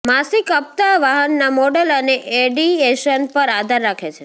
માસિક હપ્તા વાહનના મોડલ અને એડિએશન પર આધાર રાખે છે